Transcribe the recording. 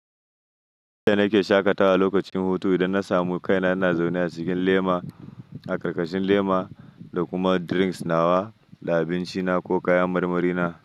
Ita nake shakatawa lokacin hutu idan na samu kaina na zaune a cikin lema, a karkashin lema da kuma drinks nawa da abinci na ko kaya marmari na.